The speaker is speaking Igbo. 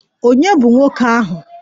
Ònye bụ nwoke ahụ?